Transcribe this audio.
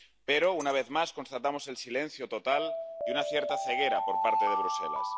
Pero, una vez más, constatamos el silencio total y una cierta ceguera por parte de Bruselas.